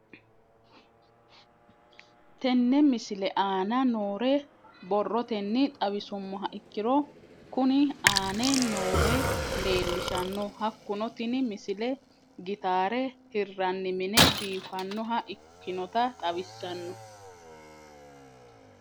Tenne misile aana noore borrotenni xawisummoha ikirro kunni aane noore leelishano. Hakunno tinni misile gitaara hirranni mine biifanoha ikkinota xawissanno